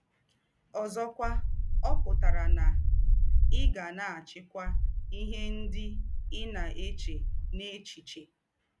Ǒ̀zọ̀kwà, ọ̀ pụ̀tárà nà ì gà na - àchị́kwà ìhè ńdị ì na - èchē n’èchíchè.